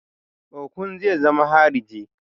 Okon zai zama hariji